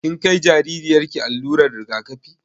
Kin kai jaririyar ki allurar rigakafi?